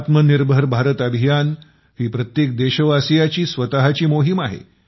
आत्मनिर्भर भारत अभियान ही प्रत्येक देशवासियाची स्वतःची मोहीम आहे